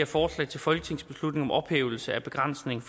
forslag til folketingsbeslutning om ophævelse af begrænsningen